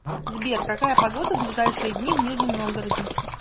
сбер какая погода в ближайшие дни в нижнем новгороде